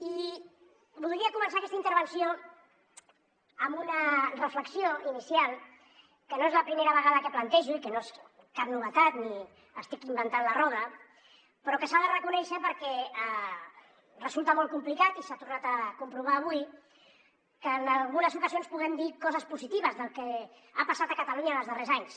i voldria començar aquesta intervenció amb una reflexió inicial que no és la primera vegada que plantejo i que no és cap novetat ni estic inventant la roda però que s’ha de reconèixer perquè resulta molt complicat i s’ha tornat a comprovar avui que en algunes ocasions puguem dir coses positives del que ha passat a catalunya en els darrers anys